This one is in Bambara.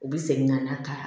U bi segin ka na ka